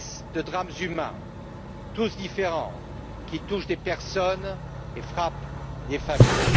de drames humains, tous différents, qui touchent des personnes et frappent des familles.